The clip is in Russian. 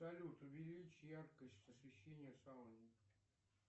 салют увеличь яркость освещения в салоне